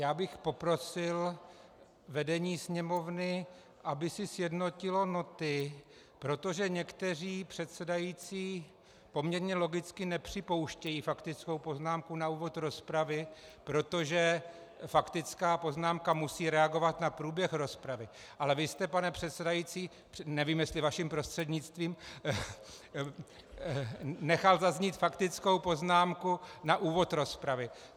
Já bych poprosil vedení Sněmovny, aby si sjednotilo noty, protože někteří předsedající poměrně logicky nepřipouštějí faktickou poznámku na úvod rozpravy, protože faktická poznámka musí reagovat na průběh rozpravy, ale vy jste, pane předsedající, nevím, jestli vaším prostřednictvím, nechal zaznít faktickou poznámku na úvod rozpravy.